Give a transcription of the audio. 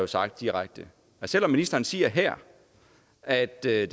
sagt direkte og selv om ministeren siger her at det